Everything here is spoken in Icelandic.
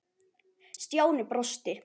Stjáni brosti.